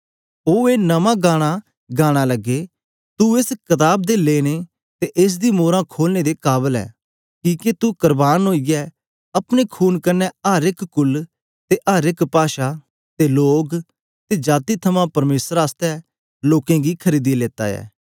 ओ ए नमां गाना लगे तू एस कताब दे लेने ते एस दी मोरां खोलने दे काबल ऐ किके तू करबान ओईयै अपने खून कन्ने अर एक कुल ते अर एक पाषा ते लोग ते जाती थमां परमेसर आसतै लोकें गी खरीदी लेता ऐ